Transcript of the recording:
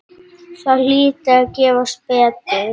Það hlyti að gefast betur.